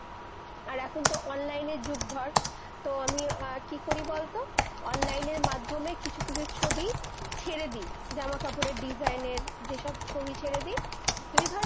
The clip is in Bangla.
এখন তো online এর যুগ ধর, তো আমি-অ কি করি বল তো, online এর মাধ্যমে কিছু কিছু ছবি, ছেড়ে দি জামা-কাপড়ের design এর যেইসব ছবি ছেড়ে দ-